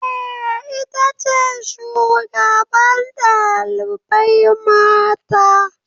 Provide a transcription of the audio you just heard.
Eh, ita ce shugaban ɗalibai mata